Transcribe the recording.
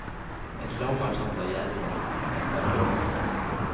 Ett lam er tatt av jerven, ett av ørn.